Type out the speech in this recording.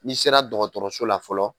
N'i sera dɔgɔtɔrɔso la fɔlɔ